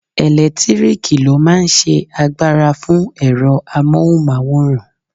Ẹlẹtíríkì ló máa n ṣe agbára fún ẹ̀rọ amóhùnmáwòrán